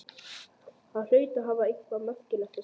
Hann hlaut að hafa eitthvað markvert að segja.